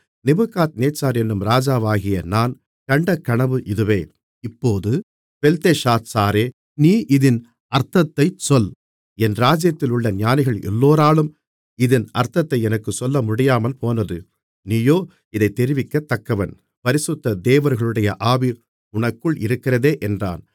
Nebuchadnezzar என்னும் ராஜாவாகிய நான் கண்ட கனவு இதுவே இப்போது பெல்தெஷாத்சாரே நீ இதின் அர்த்தத்தைச் சொல் என் ராஜ்ஜியத்திலுள்ள ஞானிகள் எல்லோராலும் இதின் அர்த்தத்தை எனக்குத் சொல்லமுடியாமல்போனது நீயோ இதைத் தெரிவிக்கத்தக்கவன் பரிசுத்த தேவர்களுடைய ஆவி உனக்குள் இருக்கிறதே என்றான்